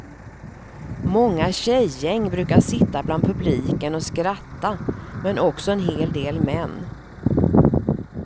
Många tjejgäng brukar sitta bland publiken och skratta, men också en hel del män.